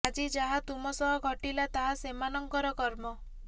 ଆଜି ଯାହା ତୁମ ସହ ଘଟିଲା ତାହା ସେମାନଙ୍କର କର୍ମ